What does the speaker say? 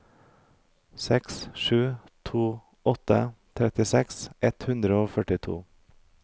seks sju to åtte trettiseks ett hundre og førtito